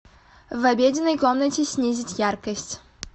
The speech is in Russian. в обеденной комнате снизить яркость